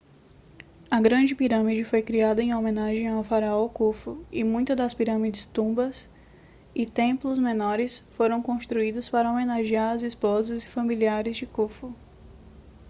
a grande pirâmide foi criada em homenagem ao faraó khufu e muitas das pirâmides tumbas e templos menores foram construídos para homenagear as esposas e familiares de khufu